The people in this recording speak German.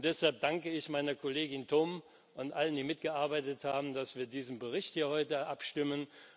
Deshalb danke ich meiner Kollegin Toom und allen, die daran mitgearbeitet haben, dass wir über diesen Bericht hier heute abstimmen.